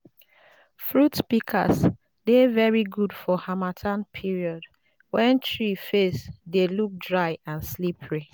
fruit pikas dey very good for harmattan period wen tree face dey look dry and slippery